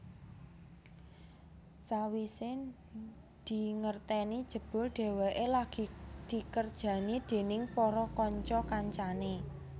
Sawisé dingerteni jebul dheweké lagi dikerjani déning para kanca kancané